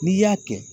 N'i y'a kɛ